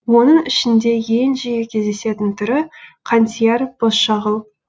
оның ішінде ең жиі кездесетін түрі қантияр бозшағыл